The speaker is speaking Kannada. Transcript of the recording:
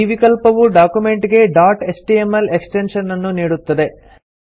ಈ ವಿಕಲ್ಪವು ಡಾಕ್ಯುಮೆಂಟ್ ಗೆ ಡಾಟ್ ಎಚ್ಟಿಎಂಎಲ್ ಎಕ್ಸ್ಟೆನ್ಶನ್ ಅನ್ನು ನೀಡುತ್ತದೆ